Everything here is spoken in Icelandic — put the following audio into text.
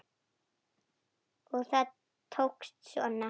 Og það tókst svona!